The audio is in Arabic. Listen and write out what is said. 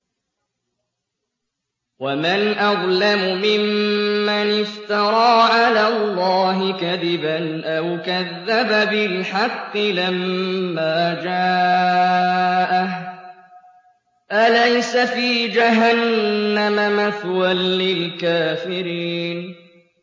وَمَنْ أَظْلَمُ مِمَّنِ افْتَرَىٰ عَلَى اللَّهِ كَذِبًا أَوْ كَذَّبَ بِالْحَقِّ لَمَّا جَاءَهُ ۚ أَلَيْسَ فِي جَهَنَّمَ مَثْوًى لِّلْكَافِرِينَ